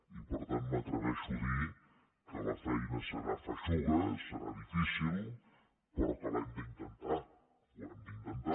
i per tant m’atreveixo a dir que la feina serà feixuga serà difícil però que l’hem d’intentar ho hem d’intentar